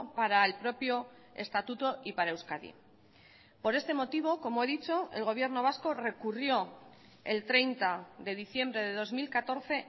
para el propio estatuto y para euskadi por este motivo como he dicho el gobierno vasco recurrió el treinta de diciembre de dos mil catorce